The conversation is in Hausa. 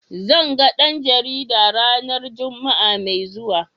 Zan ga dan jarida ranar Juma'a mai zuwa.